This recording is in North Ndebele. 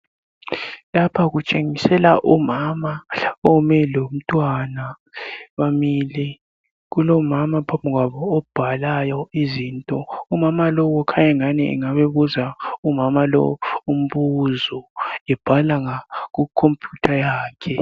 Lapha kutshengisela umama ome lomntwana. Bamile, kulomama phambi kwabo obhala izinto. Umama lowu kukhanya engani engabe ebuza umama lowu umbuzo ebhala kukhompiyutha yakhe .